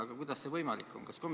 Aga kuidas see võimalik on?